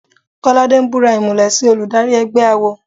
Kọ́ládé ń búra ìmùlẹ̀ sí olùdarí ẹgbẹ́ awo.